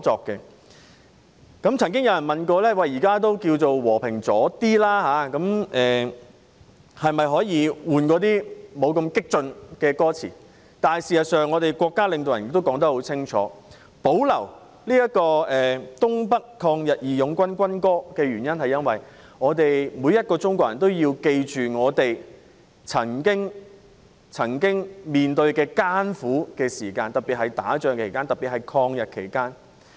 有人曾問在和平時期，可否換一首歌詞不太激進的國歌，但我們國家領導人清楚表示，保留東北抗日義勇軍軍歌，因為每個中國人都應記住我們曾經面對的艱苦時間，特別是抗日戰爭時期。